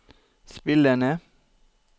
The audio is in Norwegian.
spillende